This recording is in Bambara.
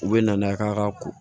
U bɛ na n'a ye k'a ka ko